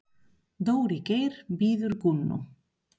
Dóri Geir bíður Gunnu.